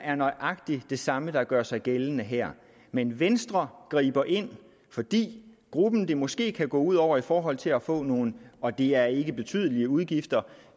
er nøjagtig det samme der gør sig gældende her men venstre griber ind fordi gruppen det måske kan gå ud over i forhold til at få nogle og det er ikke betydelige udgifter